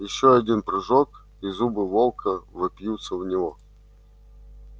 ещё один прыжок и зубы волка вопьются в него